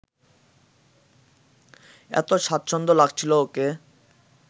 এত স্বাচ্ছন্দ্য লাগছিল ওকে